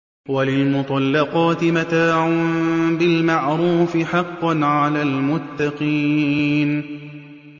وَلِلْمُطَلَّقَاتِ مَتَاعٌ بِالْمَعْرُوفِ ۖ حَقًّا عَلَى الْمُتَّقِينَ